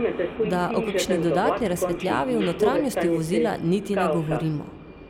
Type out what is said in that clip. Da o kakšni dodatni razsvetljavi v notranjosti vozila niti ne govorimo.